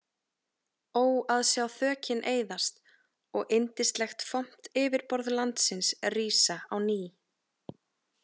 Ó að sjá þökin eyðast og yndislegt, fomt yfirborð landsins rísa á ný.